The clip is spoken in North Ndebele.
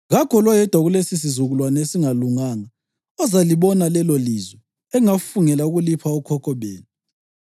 ‘Kakho loyedwa kulesisizukulwane esingalunganga ozalibona lelolizwe engafungela ukulipha okhokho benu,